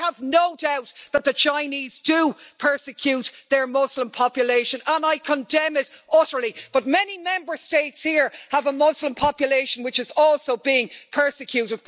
I have no doubt that the Chinese do persecute their Muslim population and I condemn it utterly, but many Member States here have a Muslim population which is also being persecuted.